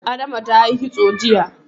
Adama ta yi kitso jiya.